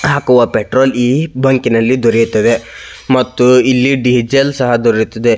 ಹಾಕುವ ಪೆಟ್ರೋಲ್ ಈ ಬೈಕಿನಲ್ಲಿ ದೊರೆಯುತ್ತದೆ ಮತ್ತು ಇಲ್ಲಿ ಡೀಸೆಲ್ ಸಹ ದೊರೆಯುತ್ತದೆ.